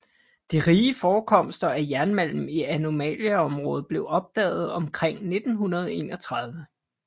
De rige forekomster af jernmalm i anomaliområdet blev opdaget omkring 1931